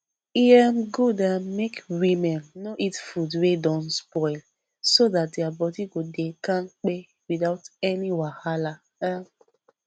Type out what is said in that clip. e um good um make women no eat food wey don spoil so that their body go dey kampe without any wahala um